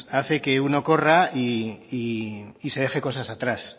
hace que uno corra y se deje cosas atrás